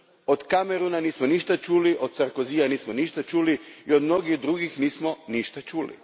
Od Camerona nismo ništa čuli, od Sarkozya nismo ništa čuli i od mnogih drugih nismo ništa čuli.